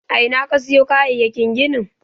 A ina ka siyo kayayyakin ginin?